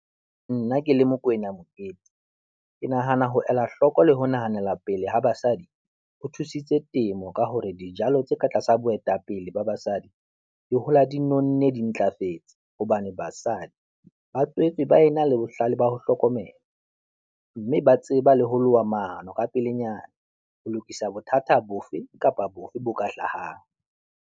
Nna ke le Mokoena Mokete, ke nahana ho ela hloko le ho nahanela pele ha basadi ho thusitse temo ka hore dijalo tse ka tlasa boetapele ba basadi di hola di nonne, di ntlafetse hobane basadi ba tswetswe ba e na le bohlale ba ho hlokomela, mme ba tseba le ho loha maano ka pelenyana ho lokisa bothata bofe kapa bofe bo ka hlahang.